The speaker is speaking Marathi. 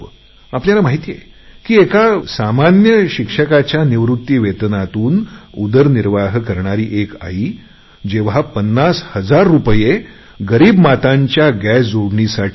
आपल्याला माहिती आहे की एका सामान्य शिक्षकांच्या निवृत्ती वेतनातून उदरनिर्वाह करणारी एक आई जेव्हा 50 हजार रुपये गरीब मातांच्या गॅस जोडणीसाठी देते